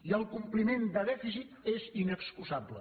i el compliment de dèficit és inexcusable